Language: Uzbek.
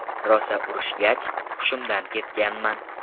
Rosa urishgach, hushimdan ketganman.